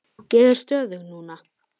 Ég er stöðug núna.